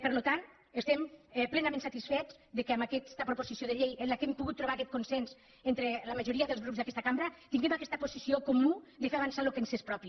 per tant estem plenament satisfets que amb aquesta proposició de llei en què hem pogut trobar aquest consens entre la majoria dels grups d’aquesta cambra tinguem aquesta posició comuna de fer avançar el que ens és propi